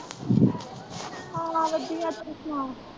ਹਾਂ ਵਧੀਆ ਤੂੰ ਸੁਣਾ।